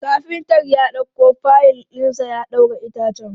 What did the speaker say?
Kafintar ya ɗauko fayil ɗinsa ya ɗaura itacen.